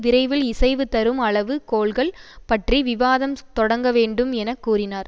விரைவில் இசைவு தரும் அளவு கோல்கள் பற்றி விவாதம் தொடங்க வேண்டும் என கூறினார்